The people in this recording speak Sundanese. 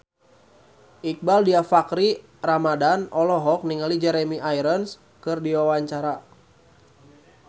Iqbaal Dhiafakhri Ramadhan olohok ningali Jeremy Irons keur diwawancara